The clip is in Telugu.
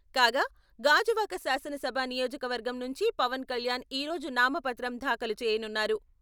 కాగా, గాజువాక శాసనసభ నియోజకవర్గం నుంచి పవన్ కళ్యాణ్ ఈ రోజు నామపత్రం దాఖలు చేయనున్నారు.